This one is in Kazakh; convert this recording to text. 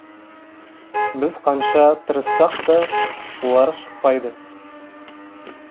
біз қанша тырыссақ та олар шықпайды